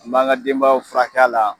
AN b'an ga denbayaw furakɛ a la